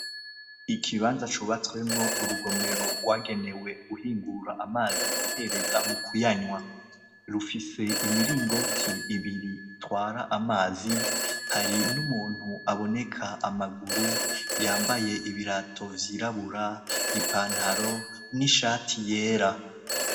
Ikibanza cubatswemwo urugomero rwagenewe guhingura amazi bihereza mu kuyanywa rufise imiringoti ibiri twara amazi hari n'umuntu aboneka amaguru yambaye ibirato vyirabura ipantaro n'ishati yera.